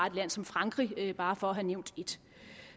et land som frankrig bare for at have nævnt et